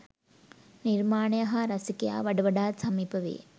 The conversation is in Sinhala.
නිර්මාණය හා රසිකයා වඩ වඩාත් සමීප වේ.